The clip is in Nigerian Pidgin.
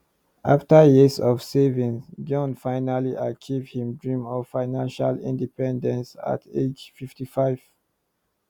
afta years of saving jon finally achieve him dream of financial independence at age 55